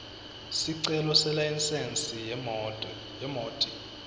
sicelo selayisensi yemoti